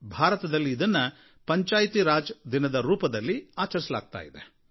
ಭಾರತದಲ್ಲಿ ಇದನ್ನು ಪಂಚಾಯಾತ್ ರಾಜ್ ದಿನದ ರೂಪದಲ್ಲಿ ಆಚರಿಸಲಾಗುತ್ತದೆ